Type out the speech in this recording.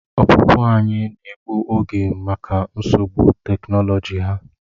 Ọpụpụ anyị na-egbu oge maka nsogbu teknoloji ha.